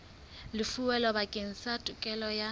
lefuweng bakeng sa tokelo ya